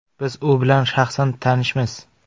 Biz u bilan shaxsan tanishmiz.